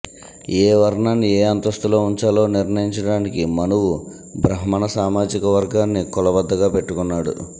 ఏ వర్ణాన్ని ఏ అంతస్తులో వుంచాలో నిర్ణయించడానికి మనువు బ్రహ్మణ సామాజికవర్గాన్ని కొలబద్దగా పెట్టుకున్నాడు